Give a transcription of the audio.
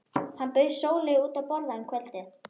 Hann bauð Sóleyju út að borða um kvöldið.